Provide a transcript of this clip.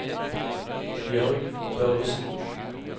Bjørg Børresen